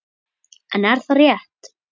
En er það rétt?